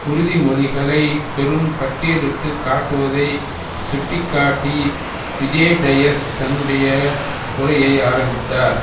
உறுதிமொழிகளை பெரும் பட்டியலிட்டு காட்டுவதை சுட்டி காட்டி விஜே டயஸ் தன்னுடைய உரையை ஆரம்பித்தார்